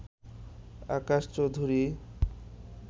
Akash Chowdhury